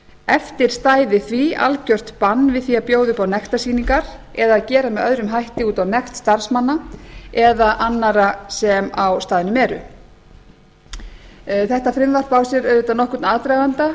eftir stæði því algjört bann við því að bjóða upp á nektarsýningar eða að gera með öðrum hætti út á nekt starfsmanna eða annarra sem á staðnum eru þetta frumvarp á sér auðvitað nokkurn aðdraganda